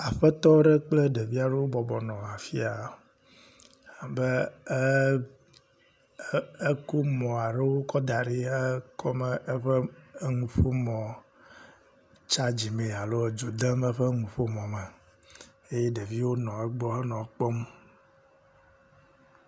Aƒetɔ aɖe kple ɖevi aɖewo bɔbɔ nɔ afia, abe … ..ekɔ mɔ aɖe kɔ daɖi .. eƒe nuƒo mɔ chargi mee alo etso dzo dem eƒe me eƒe nuƒo mɔ mee eye ɖeviwo nɔ egbɔ nɔ ekpɔm.